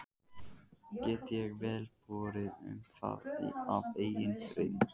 Get ég vel borið um það af eigin reynd.